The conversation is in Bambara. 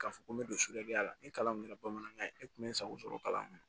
K'a fɔ ko n bɛ don la ni kalan min kɛra bamanankan ye e tun bɛ n sago sɔrɔ kalan na